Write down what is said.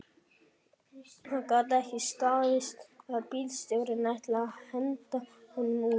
Það gat ekki staðist að bílstjórinn ætlaði að henda honum út